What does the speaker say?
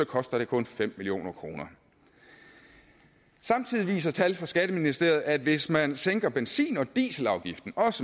koster det kun fem million kroner samtidig viser tal fra skatteministeriet at hvis man også sænker benzin og dieselafgiften